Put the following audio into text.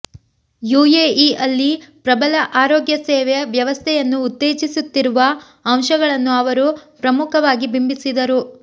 ಯುಎಇಯಲ್ಲಿ ಪ್ರಬಲ ಆರೋಗ್ಯ ಸೇವೆ ವ್ಯವಸ್ಥೆಯನ್ನು ಉತ್ತೇಜಿಸುತ್ತಿರುವ ಅಂಶಗಳನ್ನು ಅವರು ಪ್ರಮುಖವಾಗಿ ಬಿಂಬಿಸಿದರು